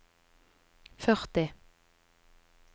førti